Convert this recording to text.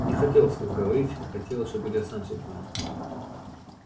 не хотел вслух говорить хотела чтобы илья сам всё понял